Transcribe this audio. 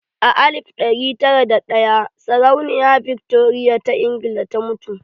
A alif ɗari tara da ɗaya sarauniya Victoria ta Ingila ta mutu.